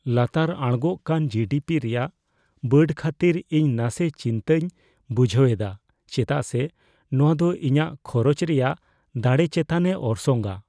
ᱞᱟᱛᱟᱨ ᱟᱬᱜᱳᱜ ᱠᱟᱱ ᱡᱤᱹᱰᱤᱹᱯᱤ ᱨᱮᱭᱟᱜ ᱵᱟᱹᱰ ᱠᱷᱟᱹᱛᱤᱨ ᱤᱧ ᱱᱟᱥᱮ ᱪᱤᱱᱛᱟᱹᱧ ᱵᱩᱡᱷᱟᱹᱣ ᱮᱫᱟ ᱪᱮᱫᱟᱜ ᱥᱮ ᱱᱚᱶᱟ ᱫᱚ ᱤᱧᱟᱹᱜ ᱠᱷᱚᱨᱪ ᱨᱮᱭᱟᱜ ᱫᱟᱲᱮ ᱪᱮᱛᱟᱱᱮ ᱚᱨᱥᱚᱝᱼᱟ ᱾